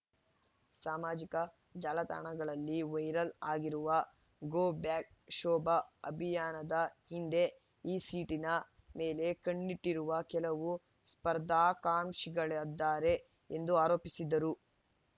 ಸಾಮಾಜಿಕ ಜಾಲತಾಣಗಳಲ್ಲಿ ವೈರಲ್ ಆಗಿರುವ ಗೋ ಬ್ಯಾಕ್ ಶೋಭಾ ಅಭಿಯಾನದ ಹಿಂದೆ ಈ ಸೀಟಿನ ಮೇಲೆ ಕಣ್ಣಿಟ್ಟಿರುವ ಕೆಲವು ಸ್ಪರ್ಧಾಕಾಂಕ್ಷಿಗಳಿದ್ದಾರೆ ಎಂದು ಆರೋಪಿಸಿದರು